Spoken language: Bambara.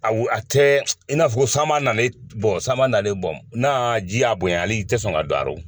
A a tɛ i n'afɔ sanba nalen sanlen nalen n'a y'a bonya hali tɛ sɔn ka don rɔ